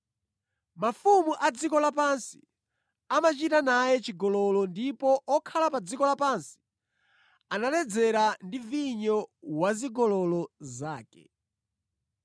Mafumu a dziko lapansi amachita naye chigololo ndipo okhala pa dziko lapansi analedzera ndi vinyo wa zigololo zake.”